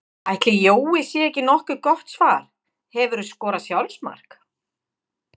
Ætli Jói sé ekki nokkuð gott svar Hefurðu skorað sjálfsmark?